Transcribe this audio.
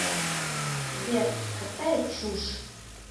сбер какая чушь